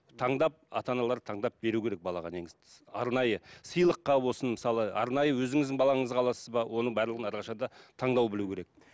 таңдап ата аналар таңдап беру керек балаға негізі арнайы сыйлыққа болсын мысалы арнайы өзіңіздің балаңызға аласыз ба оның барлығын әрқашан да таңдау білу керек